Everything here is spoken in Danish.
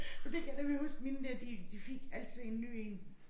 Men det kan jeg nemlig huske mine der de de fik altid en ny én